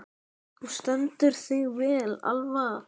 Þú stendur þig vel, Alva!